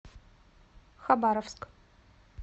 хабаровск